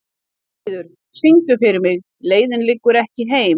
Guðríður, syngdu fyrir mig „Leiðin liggur ekki heim“.